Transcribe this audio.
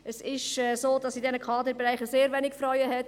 Es ist so, dass es in diesen Kaderfunktionen sehr wenige Frauen hat.